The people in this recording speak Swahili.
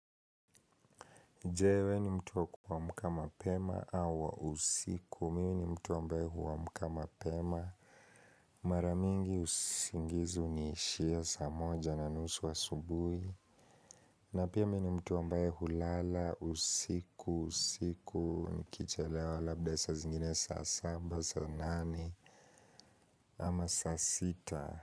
Je wewe ni mtu wa kuamka mapema au wa usiku. Mimi ni mtu ambaye huamka mapema. Mara mingi usingizi huniishia saa moja na nusu asubuhi. Na pia mimi ni mtu wa ambaye hulala, usiku, usiku, nikichelewa labda saa zingine saa saba, saa nane ama saa sita.